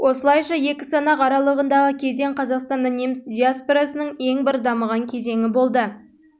осылайша екі санақ аралығындағы кезең қазақстанда неміс диаспорасының ең бір дамыған кезеңі болды